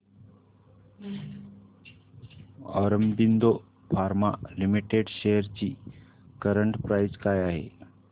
Aurobindo pharma limited shares ची current price काय आहे